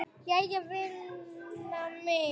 Jæja vina mín.